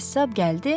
Qəssab gəldi.